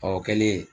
Ɔ o kɛlen